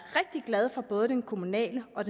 rigtig glad for både den kommunale og